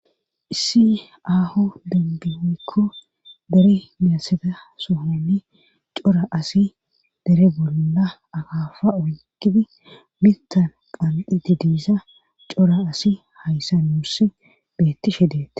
Issi aaho dembinnikko dere meyasada sohonni cora asi dere bolla agaafa oyqidi mintan qandi didiisa cora asi hayssa nuuss beettishe deete.